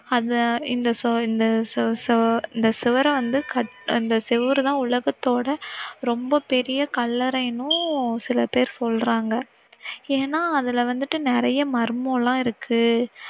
அத இந்த சு~இந்த சு~சு இந்த சுவர வந்து கட்~இந்த சுவர் தான் உலகத்தோட ரொம்ப பெரிய கல்லறைனும் சில பேர் சொல்லறாங்க, ஏன்னா அதுல வந்திட்டு நிறைய மர்மம் எல்லாம் இருக்கு.